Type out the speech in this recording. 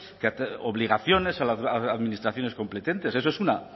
obligaciones a las administraciones competentes eso es una